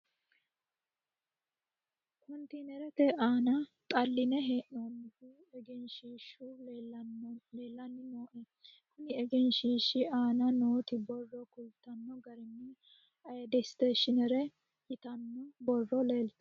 kontiinerete aana xalline hee'noonnihu egenshiishshu leelanni no yaate, konni egenshiishshi aana nooti borro kultanno garinni ayide isteeshineri yitanno borro leeltano.